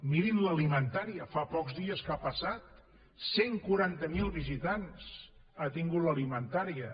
mirin l’alimentaria fa pocs dies que ha passat cent i quaranta miler visitants ha tingut l’alimentaria